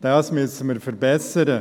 Dies müssen wir verbessern.